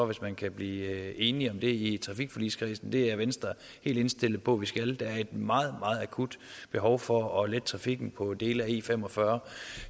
hvis man kan blive enige om det i trafikforligskredsen det er venstre helt indstillet på at vi skal der er et meget meget akut behov for at lette trafikken på dele af e45